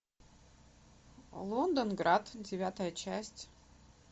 лондонград девятая часть